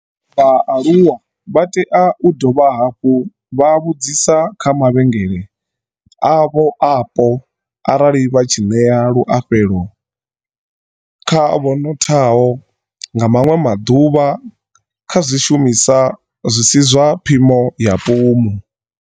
Vha aluwa vha tea u dovha hafhu vha vhudzisa kha mavhengele avho apo arali vha tshi ṋea luafhulelo kha vhonothaho, nga maṅwe maḓuvha, kha zwishumisa zwi si zwa phimo ya pumu.